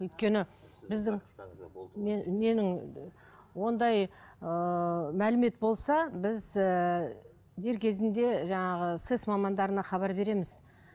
өйткені біздің менің ондай ыыы мәлімет болса біз ііі дер кезінде жаңағы сэс мамандарына хабар береміз